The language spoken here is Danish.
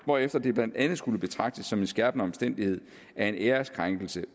hvorefter det blandt andet skulle betragtes som en skærpende omstændighed at en æreskrænkelse